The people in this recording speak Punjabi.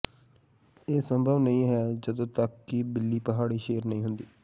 ਇਹ ਸੰਭਵ ਨਹੀਂ ਹੈ ਜਦੋਂ ਤੱਕ ਕਿ ਬਿੱਲੀ ਪਹਾੜੀ ਸ਼ੇਰ ਨਹੀਂ ਹੁੰਦੀ